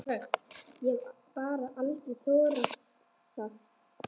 Ég hef bara aldrei þorað það.